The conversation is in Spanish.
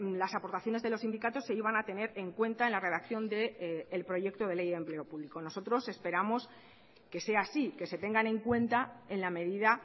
las aportaciones de los sindicatos se iban a tener en cuenta en la redacción del proyecto de ley de empleo público nosotros esperamos que sea así que se tengan en cuenta en la medida